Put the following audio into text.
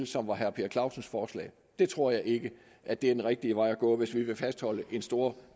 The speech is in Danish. som var herre per clausens forslag det tror jeg ikke er den rigtige vej at gå hvis vi vil fastholde en stor